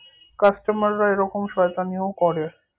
coustomer রা এরকম শয়তানিও করে